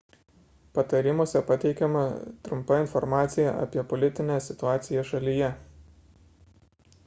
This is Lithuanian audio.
patarimuose pateikiama trumpa informacija apie politinę situaciją šalyje